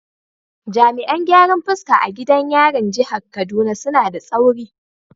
Jami’an gyaran fuska a gidan yarin jihar Kaduna suna da tsauri